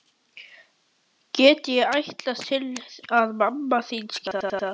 Get ég ætlast til að mamma þín skilji það?